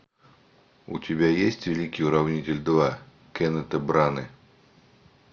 у тебя есть великий уравнитель два кеннета браны